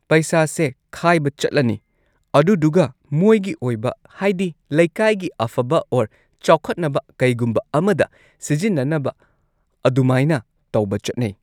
ꯄꯩꯁꯥꯁꯦ ꯈꯥꯏꯕ ꯆꯠꯂꯅꯤ ꯑꯗꯨꯗꯨꯒ ꯃꯣꯏꯒꯤ ꯑꯣꯏꯕ ꯍꯥꯏꯗꯤ ꯂꯩꯀꯥꯏꯒꯤ ꯑꯐꯕ ꯑꯣꯔ ꯆꯥꯎꯈꯠꯅꯕ ꯀꯩꯒꯨꯝꯕ ꯑꯃꯗ ꯁꯤꯖꯤꯟꯅꯅꯕ ꯑꯗꯨꯃꯥꯏꯅ ꯇꯧꯕ ꯆꯠꯅꯩ